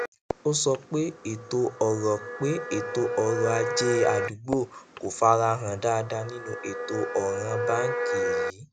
ó sọ pé ètò ọrọ pé ètò ọrọ ajé àdúgbò kò fara hàn dáadáa nínú ètò ọràn báńkì èyí